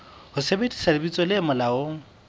ho sebedisa lebitso le molaong